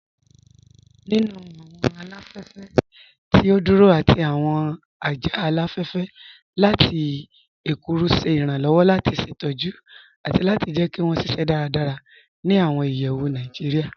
Nínu awọn aláfẹ̀fẹ̀ tí o dúró àti awọn ajá aláfẹ̀fẹ̀ lati èrùkù ṣè irànlowọ̀ lati ṣetọ̀jù àti jẹ́ kí wọn ṣíṣẹ́ dáràdárà ni awọn ìyẹ̀wù Naijíríà.